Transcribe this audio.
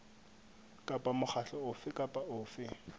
kapa mokgatlo ofe kapa ofe